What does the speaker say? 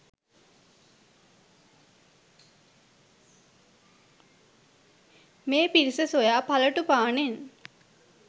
මේ පිරිස සොයා පලටුපානෙන්